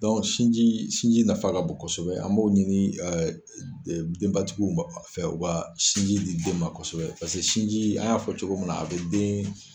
sinji sinji nafa ka bon kosɛbɛ an b'o ɲini denbatigiw fɛ u ka sinji di den ma kosɛbɛ sinji an y'a fɔ cogo min a bɛ den.